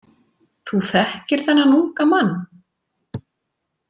Þú þekkir þennan unga mann?